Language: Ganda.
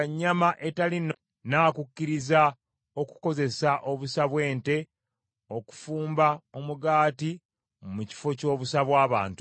N’ayogera nti, “Weewaawo, nnaakukkiriza okukozesa obusa bw’ente okufumba omugaati mu kifo ky’obusa bw’abantu.”